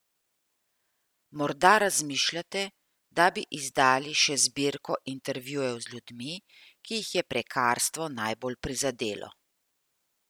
Morda razmišljate, da bi izdali še zbirko intervjujev z ljudmi, ki jih je prekarstvo najbolj prizadelo?